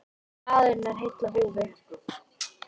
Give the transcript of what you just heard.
Maðurinn er heill á húfi.